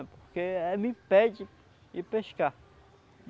É porque é me impede de pescar.